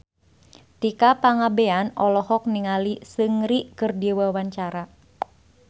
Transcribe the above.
Tika Pangabean olohok ningali Seungri keur diwawancara